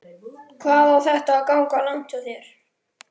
Hvað á þetta að ganga langt hjá þér?